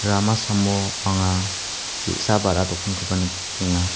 rama samo anga ge·sa ba·ra dokankoba nikenga.